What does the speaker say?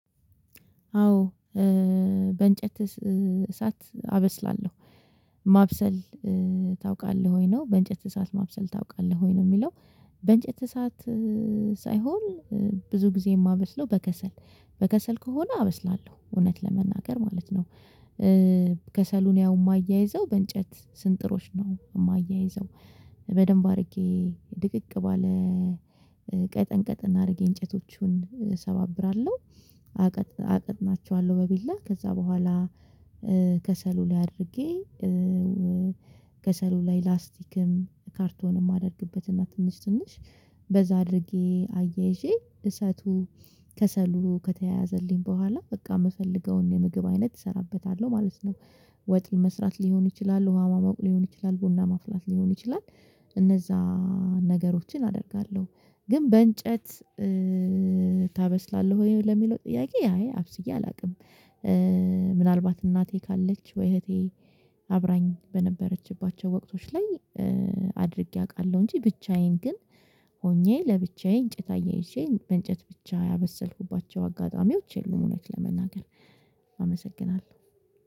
አዎ በእንጨት እሳት አበስላለሁ ማብሰል ታውቃለህ ወይ? ነው በእንጨት እሳት ማብሰል ታውቃለህ ወይ ነው የሚለው በእንጨት እሳት ሳይሆን ብዙ ጊዜ የማበስለው በከሰል በከሰል ከሆነ አበስላለሁ እውነት ለመናገር ማለት ነው። ከሰሉን ያው የማያይዘው በእንጨት ስንጥሮች ነው የማያይዘው በደንብ አድርጌ ድቅቅ ባለ ቀጠን ቀጠን አድርጌ እንጨቶቹን እሰባብራለሁ። አቅጥናቸዋለሁ በቢላ ከዛ በኋላ ከሰሉ ላይ አድርጌ ከሰሉ ላይ ላስቲክም ካርቶንም አደርግበትና ትንሽ ትንሽ በዛ አድርጌ አያይዤ እሳቱ ከሰሉ ከተያዘልኝ በኋላ በቃ የምፈልገውን የምግብ አይነት እሰራበታለሁ ማለት ነው። ወጥ መስራት ሊሆን ይችላል ውሃ ማሞቅ ሊሆን ይችላል ቡና ማፍላት ሊሆን ይችላል። እነዛ ነገሮችን አደርጋለሁ ግን በእንጨት ታበስላለህ ወይ ለሚለው ጥያቄ አይ አብስዬ አላውቅም። ምናልባት እናቴ ካለች ወይ እህቴ አብራኝ በነበረችባቸው ወቅቶች ላይ አድርጌ አውቃለሁ እንጂ ብቻዬን ግን ሆኜ ለብቻዬ እንጨታ አያይዤ በእንጨት ብቻ ያበሰልኩባቸው አጋጣሚዎች የሉም። እውነት ለመናገር አመሰግናለሁ